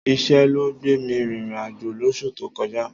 Iṣẹ́ ló gbè mi rin ìrìn-àjò lóṣù tó kọjá.